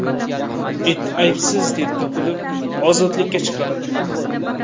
It aybsiz deb topilib, ozodlikka chiqarildi.